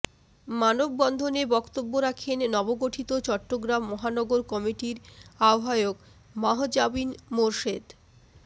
মানববন্ধনে ব্ক্তব্য রাখেন নবগঠিত চট্টগ্রাম মহানগর কমিটির আহবায়ক মাহজাবীন মোরশেদ